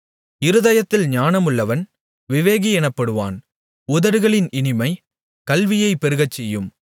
இருதயத்தில் ஞானமுள்ளவன் விவேகி எனப்படுவான் உதடுகளின் இனிமை கல்வியைப் பெருகச்செய்யும்